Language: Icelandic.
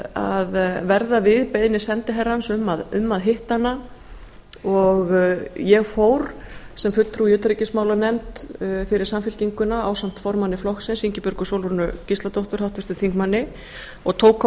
að verða við beiðni sendiherrans um að hitta hana og ég fór sem fulltrúi í utanríkismálanefnd fyrir samfylkinguna ásamt formanni flokksins ingibjörgu sólrúnu gísladóttur háttvirtur þingmaður og tók á